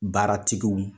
Baaratigiw